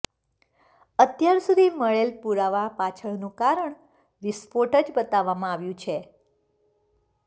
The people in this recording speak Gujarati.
અત્યાર સુધી મળેલ પુરાવા પાછળનુ કારણ વિસ્ફોટ જ બતાવવામાં આવ્યુ છે